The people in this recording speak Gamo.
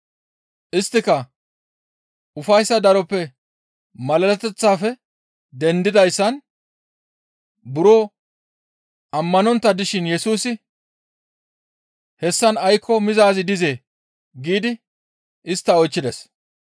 Isttika ufayssa daroppenne malaleteththafe dendidayssan buro ammanontta dishin Yesusi, «Hessan aykko mizaazi dizee?» giidi istta oychchides.